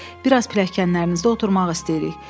Bir az pilləkənlərinizdə oturmaq istəyirik.